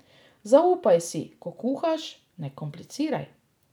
Zaupaj si, ko kuhaš, ne kompliciraj!